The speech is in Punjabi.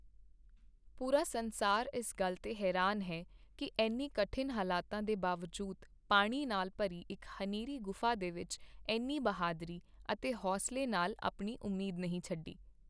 ਪੂਰਾ ਸੰਸਾਰ ਇਸ ਗੱਲ ਤੇ ਹੈਰਾਨ ਹੈ ਕੀ ਐਨੇ ਕਠਿਨ ਹਾਲਾਤ ਦੇ ਬਾਵਜੂਦ ਪਾਣੀ ਨਾਲ ਭਰੀ ਇੱਕ ਹਨੇਰੀ ਗੁਫ਼ਾ ਦੇ ਵਿੱਚ ਐਨੀ ਬਹਾਦਰੀ ਅਤੇ ਹੌਂਸਲੇ ਨਾਲ ਆਪਣੀ ਉਮੀਦ ਨਹੀਂ ਛੱਡੀ।